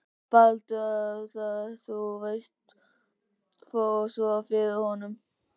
Baldur. að það, þú veist, fór svona fyrir honum.